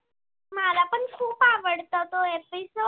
खूप आवडतो तो episode